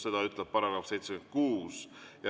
Seda ütleb § 76.